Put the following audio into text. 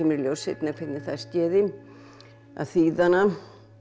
í ljós seinna hvernig það skeði að þýða hana